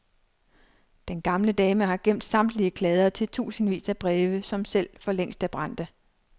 Den gamle dame har gemt samtlige kladder til tusindvis af breve, som selv for længst er brændte.